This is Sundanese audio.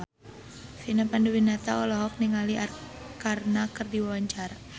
Vina Panduwinata olohok ningali Arkarna keur diwawancara